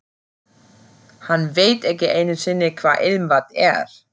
Hann veit ekki einu sinni hvað ilmvatn er.